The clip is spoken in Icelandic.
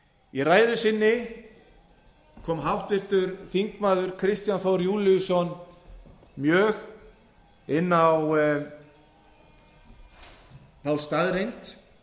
í ræðu sinni kom háttvirtir þingmenn kristján þór júlíusson mjög inn á þá staðreynd